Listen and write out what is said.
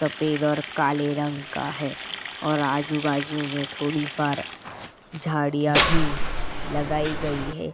तपेद और काले रंग का है और आजू-बाजू में थोड़ी फार झाड़ियाँ भी लगाई गई हैं।